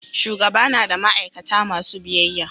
shugaba na da ma'aikata masu biyyaya